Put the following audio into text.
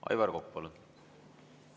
Aivar Kokk, palun!